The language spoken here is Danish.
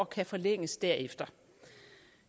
kan forlænges derefter